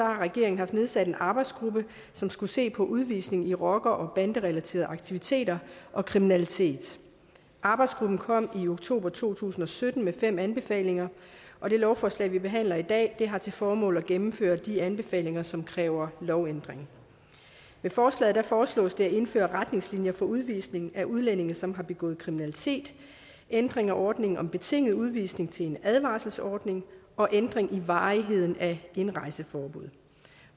regeringen haft nedsat en arbejdsgruppe som skulle se på udvisning i rocker og banderelaterede aktiviteter og kriminalitet arbejdsgruppen kom i oktober to tusind og sytten med fem anbefalinger og det lovforslag som vi behandler i dag har til formål at gennemføre de anbefalinger som kræver lovændringer med forslaget foreslås det at indføre retningslinjer for udvisning af udlændinge som har begået kriminalitet ændre ordningen om betinget udvisning til en advarselsordning og ændre i varigheden af indrejseforbuddet